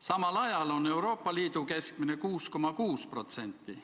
Samal ajal on Euroopa Liidu keskmine 6,6%.